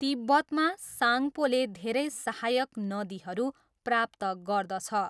तिब्बतमा, साङ्पोले धेरै सहायक नदीहरू प्राप्त गर्दछ।